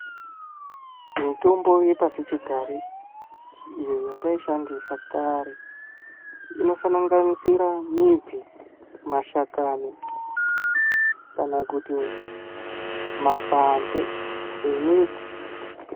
Mitombo yepashichigare iyo yataishandisa kare inosanganisire midzi mashakani kana kuti makwande emiti.